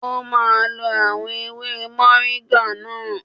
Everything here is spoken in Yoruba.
O máa lo àwọn ewé mọ̀ríńgà náà.